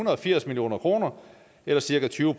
og firs million kroner eller cirka tyve